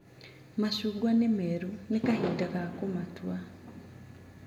Macungwa nĩmeru, nĩkahinda ga kũmatua.